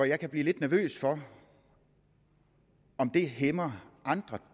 jeg kan blive lidt nervøs for om det hæmmer andre